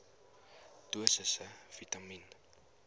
dosisse vitamien